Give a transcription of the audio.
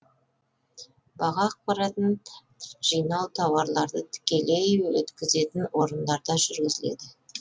баға ақпараттарын жинау тауарларды тікелей өткізетін орындарда жүргізіледі